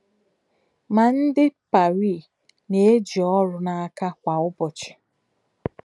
Ma, ndị Paris na - eji ọrụ n’aka kwa ụbọchị.